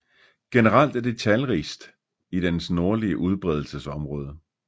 Generelt er de talrigst i dens nordlige udbredelsesområde